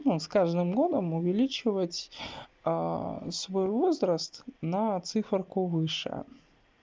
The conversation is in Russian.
но с каждым годом увеличивать свой возраст на цифорку выше